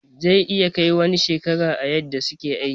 Zai iya Kai wani shekaran a yadda suke aikin.